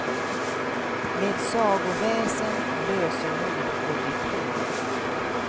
Med sagoväsen, lösenord och diplom.